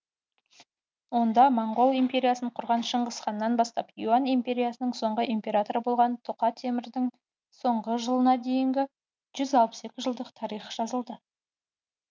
онда моңғол империясын құрған шыңғысханнан бастап юань империясының соңғы императоры болған тұқа темірдің соңғы жылына дейінгі жүз алпыс екі жылдық тарих жазылды